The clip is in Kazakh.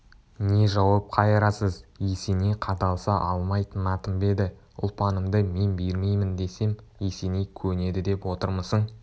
не жауап қайырасыз есеней қадалса алмай тынатын ба еді ұлпанымды мен бермеймін десем есеней көнеді деп отырмысың